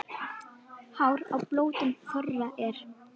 Hár á blótum þorra er.